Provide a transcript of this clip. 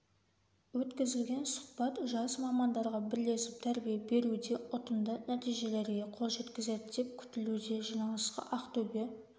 өткізілген сұхбат жас мамандарға бірлесіп тәрбие беруде ұтымды нәтижелерге қол жеткізеді деп күтілуде жиналысқа ақтөбе